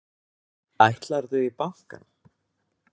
Ætlarðu í bankann?